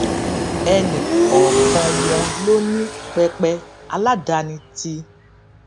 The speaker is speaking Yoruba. ẹnì kòòkan wọn ló ní pẹpẹ aládani tí